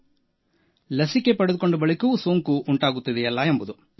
ಎರಡನೆಯದಾಗಿ ಲಸಿಕೆ ಪಡೆದುಕೊಂಡ ಬಳಿಕವೂ ಸೋಂಕು ಉಂಟಾಗುತ್ತಿದೆಯಲ್ಲ ಎನ್ನುವುದು